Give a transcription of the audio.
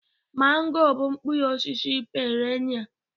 mango bụ mkpụrụ osisi perennial